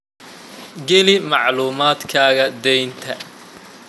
Geli macluumaadkaaga deynta